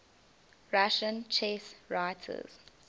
russian chess writers